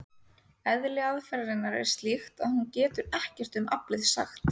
Eðli aðferðarinnar er slíkt að hún getur ekkert um aflið sagt.